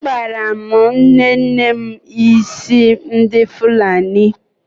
Akpara m nnenne m ísí ndị Fulani.